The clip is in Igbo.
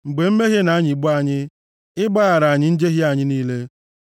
Mgbe mmehie na-anyịgbu anyị, ị gbaghara anyị njehie anyị niile.